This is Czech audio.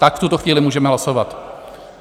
Tak v tuto chvíli můžeme hlasovat.